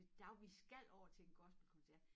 Der vi skal over til en gospelkoncert